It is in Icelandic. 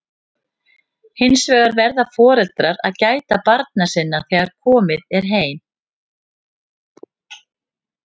hins vegar verða foreldrar að gæta barna sinna þegar heim er komið